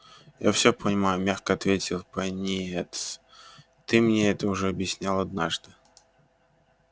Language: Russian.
я всё понимаю мягко ответил пониетс ты мне это уже объяснял однажды